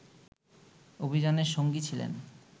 অভিযানের সঙ্গী ছিলেন